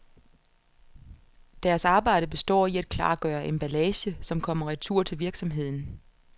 Deres arbejde består i at klargøre emballage, som kommer retur til virksomheden.